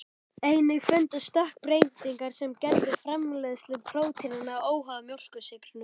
Einnig fundust stökkbreytingar sem gerðu framleiðslu prótínanna óháða mjólkursykrinum.